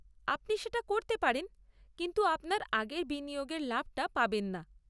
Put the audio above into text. আপনি সেটা করতে পারেন, কিন্তু আপনার আগের বিনিয়োগের লাভটা পাবেন না।